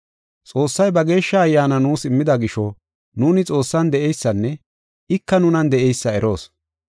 Xoossay ba Geeshsha Ayyaana nuus immida gisho, nuuni Xoossan de7eysanne ika nunan de7eysa eroos.